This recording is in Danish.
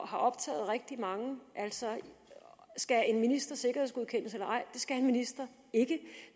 har optaget rigtig mange altså skal en minister sikkerhedsgodkendes eller ej det skal en minister ikke